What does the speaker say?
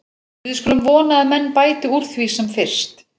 Við skulum vona að menn bæti úr því sem fyrst.